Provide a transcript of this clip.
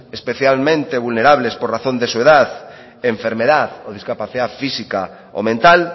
especialmente vulnerables por razón de su edad enfermedad o discapacidad física o mental